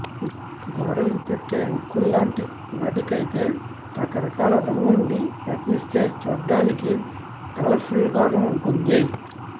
గోడలకు పెట్టే హుక్కుల్లాంటి వాటికైతే రకరకాల రంగుల్ని ప్రయత్నిస్తే చూడ్డానికి కలర్ఫుల్గానూ ఉంటుంది